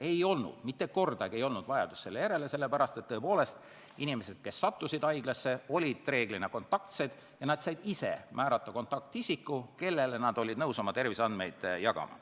Ei tekkinud, mitte kordagi ei tekkinud seda vajadust, sellepärast et inimesed, kes sattusid haiglasse, olid reeglina kontaktsed ja nad said ise määrata kontaktisiku, kellega nad olid nõus oma terviseandmeid jagama.